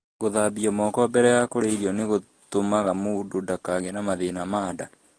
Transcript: Gũthambia moko mbere ya kũrĩa irio nĩ gũtũmaga mũndũ ndagĩe na mathĩna ma nda.